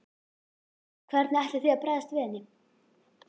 Hvernig ætlið þið að bregðast við henni?